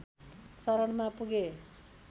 शरणमा पुगे